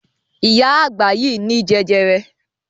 Ìyá àgbà yìí ní jẹjẹrẹ.